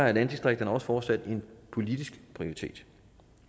er landdistrikterne også fortsat en politisk prioritet